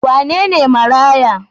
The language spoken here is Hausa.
Wane ne maraya?